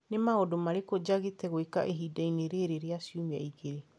Nĩ maũndũ marĩkũ njagĩte gwĩka ihinda-inĩ rĩrĩ rĩa ciumia igĩrĩ?